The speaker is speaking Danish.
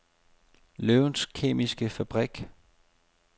Løvens Kemiske Fabrik